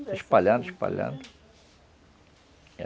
Se espalhando, se espalhando.